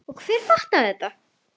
Og hver fattar þetta?